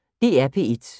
DR P1